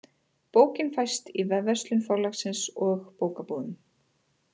Bókin fæst í vefverslun Forlagsins og bókabúðum.